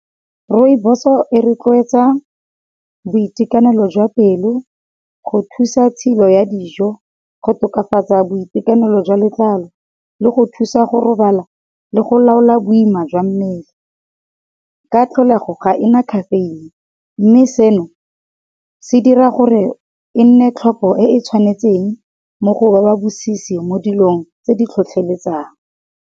Rooiboso e rotloetsa boitekanelo jwa pelo, go thusa tshilo ya dijo, go tokafatsa boitekanelo jwa letlalo, le go thusa go robala, le go laola boima jwa mmele. Ka tlholego ga ena khafeine, mme seno se dira gore e nne tlhopo e e tshwanetseng mo go ba ba bosisi mo dilong tse di tlhotlheletsang.